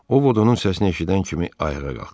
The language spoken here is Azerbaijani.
O Vod onun səsini eşidən kimi ayağa qalxdı.